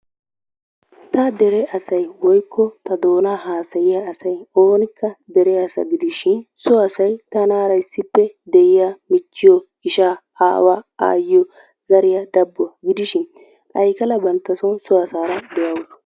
Ta dere asay woykko ta doonaa haasayiya asay oonikka dere asa gidishin so asay tanaara issippe de'iya michchiyo, ishaa, aawaa, aayyiyo, zariya dabbuwa gidishin Aykala bantta son so asaara de'awusu.